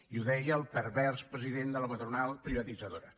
i ho deia el pervers president de la patronal privatitzadora